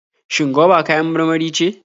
Shin goba kayan marmari ce?